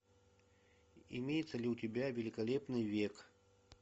имеется ли у тебя великолепный век